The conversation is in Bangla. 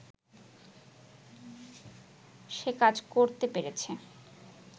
সে কাজ করতে পেরেছে